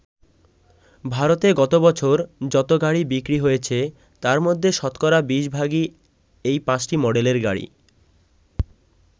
ভারতে গত বছর যত গাড়ি বিক্রি হয়েছে তার মধ্যে শতকরা ২০ ভাগই এই পাঁচটি মডেলের গাড়ি।